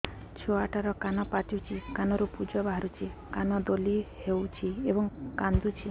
ଛୁଆ ଟା ର କାନ ପାଚୁଛି କାନରୁ ପୂଜ ବାହାରୁଛି କାନ ଦଳି ହେଉଛି ଏବଂ କାନ୍ଦୁଚି